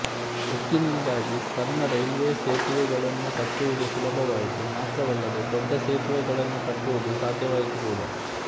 ಉಕ್ಕಿನಿಂದಾಗಿ ಸಣ್ಣ ರೈಲ್ವೆಸೇತುವೆಗಳನ್ನು ಕಟ್ಟುವುದು ಸುಲಭ ವಾಯಿತು ಮಾತ್ರವಲ್ಲದೆ ದೊಡ್ಡ ಸೇತುವೆಗಳನ್ನು ಕಟ್ಟುವುದು ಸಾಧ್ಯವಾಯಿತು ಕೂಡ